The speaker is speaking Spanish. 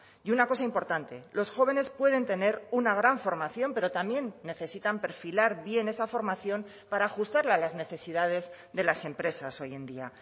y una cosa importante los jóvenes pueden tener una gran formación pero también necesitan perfilar bien esa formación para ajustarla a las necesidades de las empresas hoy en día